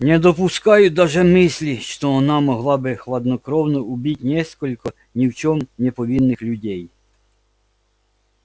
не допускаю даже мысли что она могла бы хладнокровно убить несколько ни в чем не повинных людей